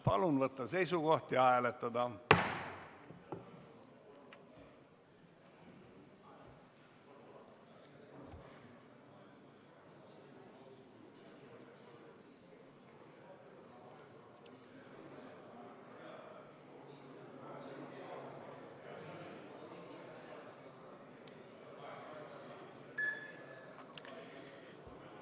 Palun võtta seisukoht ja hääletada!